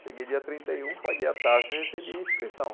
Cheguei dia trinta e um, paguei a taxa e recebi a inscrição.